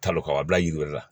Talo ka bila yiri wɛrɛ la